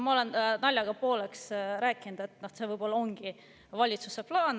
Ma olen naljaga pooleks rääkinud, et see võib-olla ongi valitsuse plaan.